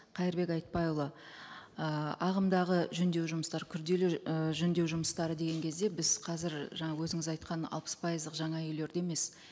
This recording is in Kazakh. қайырбек айтбайұлы ы ағымдағы жөндеу жұмыстар күрделі ы жөндеу жұмыстары деген кезде біз қазір жаңа өзіңіз айтқан алпыс пайыздық жаңа үйлерді емес